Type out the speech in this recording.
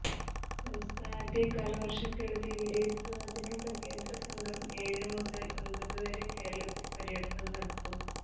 സംസ്ഥാനത്തെ കാലവർഷക്കെടുതി വിലയിരുത്തുന്നതിനുള്ള കേന്ദ്രസംഘം ഏഴു മുതൽ ഒൻപതുവരെ കേരളത്തിൽ പര്യടനം നടത്തും